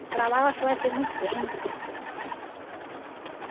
E para lá eu acho que vai ser muito quente.